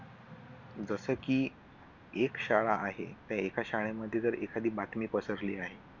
जसं की एक शाळा आहे त्या एका शाळेमध्ये जर एखादी बातमी पसरली आहे.